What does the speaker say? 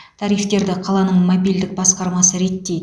тарифтерді қаланың мобильдік басқармасы реттейді